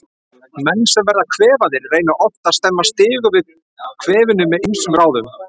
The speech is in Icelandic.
Menn sem verða kvefaðir reyna oft að stemma stigu við kvefinu með ýmsum ráðum.